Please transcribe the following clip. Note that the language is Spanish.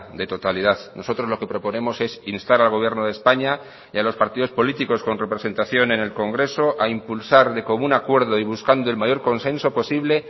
de totalidad nosotros lo que proponemos es instar al gobierno de españa y a los partidos políticos con representación en el congreso a impulsar de común acuerdo y buscando el mayor consenso posible